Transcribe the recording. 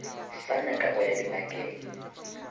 sa nyaka go ya dingakeng